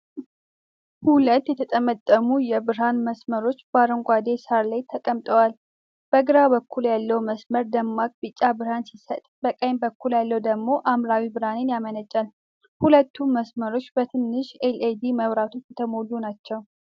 ሁለት የተጠመጠሙ የብርሃን መስመሮች በአረንጓዴ ሳር ላይ ተቀምጠዋል። በግራ በኩል ያለው መስመር ደማቅ ቢጫ ብርሃን ሲሰጥ፣ በቀኝ በኩል ያለው ደግሞ ሐምራዊ ብርሃን ያመነጫል። ሁለቱም መስመሮች በትንንሽ ኤልኢዲ መብራቶች የተሞሉ ናቸው።